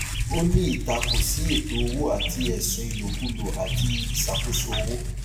ó ní ìtakò sí ètò owó àti ẹsùn ìlòkulò àti ìṣàkóso owó